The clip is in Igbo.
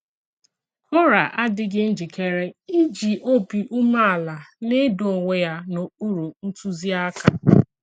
Kórà adìghì njìkèrè ìjì òbì ùmèàlà nà-èdò onwe ya n’okpùrụ̀ ntùzíàkà.